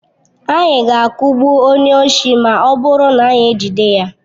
Anyị ga-akụgbu onye oshi ma ọ bụrụ na anyị ejide ya.